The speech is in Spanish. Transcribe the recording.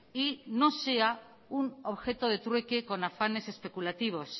y no sea un objeto de trueque con afanes especulativos